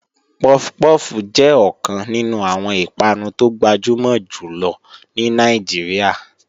Puff puff jẹ́ ọ̀kan nínú àwọn ìpanu tó gbajúmọ̀ jù lọ ní Nàìjíríà.